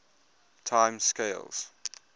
time scales